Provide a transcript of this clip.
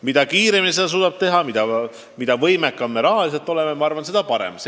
Mida kiiremini me suudame edasi liikuda, mida võimekamad me rahaliselt oleme, seda parem.